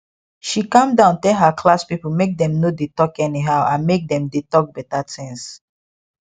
she calm down tell her class people make dem no dey talk anyhow and make dem dey talk beta things